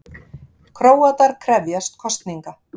Króatar krefjast kosninga